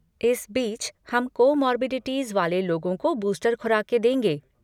इस बीच हम कोमॉर्बिडिटीज़ वाले लोगों को बूस्टर खुराकें देंगे।